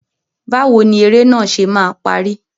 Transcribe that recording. Báwo ni eré náà ṣe máa parí?